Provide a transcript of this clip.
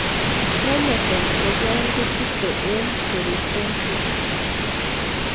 Chromosome sogol kochutei eng'pericentric